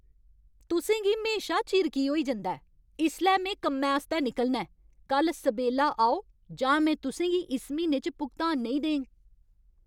तुसें गी म्हेशा चिर की होई जंदा ऐ? इसलै में कम्मै आस्तै निकलना ऐ! कल्ल सबेल्ला आओ जां में तुसें गी इस म्हीने च भुगतान नेईं देङ।